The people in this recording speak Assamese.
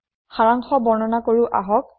সাৰাংশ বৰ্ণনা কৰো আহক